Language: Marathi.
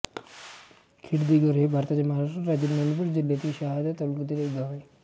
खेडदिगर हे भारताच्या महाराष्ट्र राज्यातील नंदुरबार जिल्ह्यातील शहादा तालुक्यातील एक गाव आहे